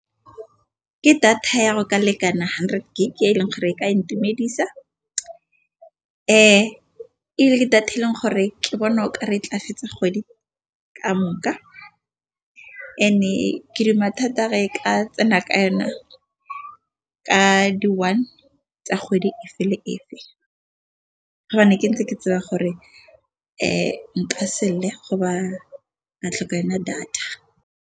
Ke data ya go ka lekana hundred gig e e leng gore e ka intumedisa. Data e leng gore ke bona o ka re tla fetsa kgwedi ka moka and-e ke re mathata e ka tsena ka yona ka di-one tsa kgwedi efe le efe ke ntse ke tseba gore nka go ba go tlhoka yona data.